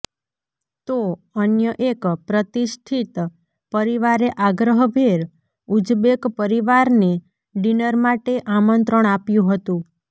તો અન્ય એક પ્રતિષ્ઠિત પરિવારે આગ્રહભેર ઉઝબેક પરિવારને ડીનર માટે આમંત્રણ આપ્યું હતું